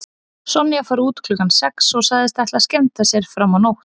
Sonja fór út klukkan sex og sagðist ætla að skemmta sér fram á nótt.